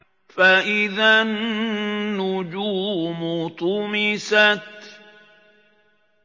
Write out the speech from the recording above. فَإِذَا النُّجُومُ طُمِسَتْ